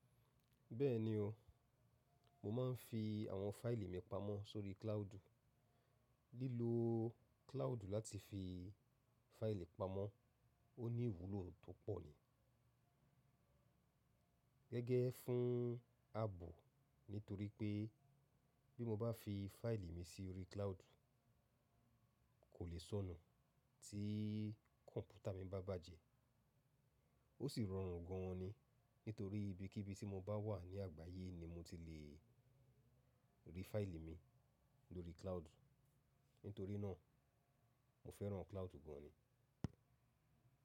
Bẹ́ẹ̀ni o, mo máa ń fi àwọn fáìlì mi pamọ́ sórí cloud. Lílo cloud láti fi fáìlì pamọ́ ó ní ìwúlò tó pọ̀ ni. Gẹ́gẹ́ fún àbọ̀ nítorí pé bí mo bá fi fáìlì mi sórí cloud, kò lè sọnù tí kọ̀mpútà mi bá bàjẹ́. Ó sì rọrùn gan ni nítorí bí kí bí tí mo bá wà ní àgbáyé ni mo ti le rí fáìlì mi lórí cloud. Nítorí náà mo fẹ́ràn cloud gan ni.